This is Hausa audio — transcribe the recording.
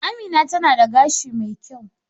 Amina tana da gashi mai kyau